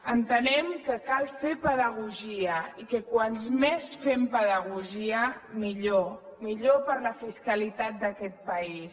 entenem que cal fer pedagogia i que quants més fem pedagogia millor millor per a la fiscalitat d’aquest país